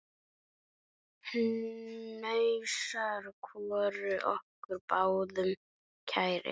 Hnausar voru okkur báðum kærir.